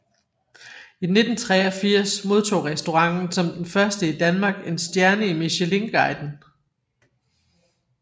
I 1983 modtog restauranten som den første i Danmark en stjerne i Michelinguiden